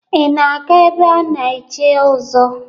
Ị na-aga ebe a na-echi ọzọ?